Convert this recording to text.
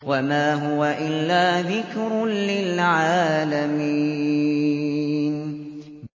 وَمَا هُوَ إِلَّا ذِكْرٌ لِّلْعَالَمِينَ